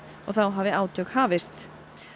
og þá hafi átök hafist